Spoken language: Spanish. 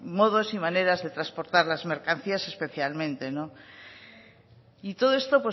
modos y maneras de transportar las mercancías especialmente y todo esto